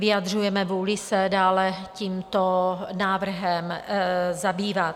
Vyjadřujeme vůli se dále tímto návrhem zabývat.